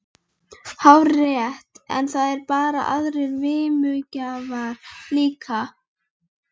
Vatnshljóðið yfirgnæfði næstum sífrandi gnauðið í vindinum.